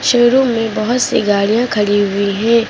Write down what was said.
Showroom में बहुत सी गाड़ियां खड़ी हुई हैं।